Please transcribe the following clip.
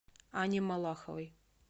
анне малаховой